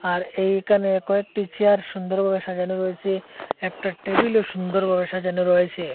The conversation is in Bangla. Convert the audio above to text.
আর এইকানে কয়েকটি চেয়ার সুন্দর ভাবে সাজানো রয়েসে একটি টেবিল -ও সুন্দর ভাবে সাজানো রয়েসে।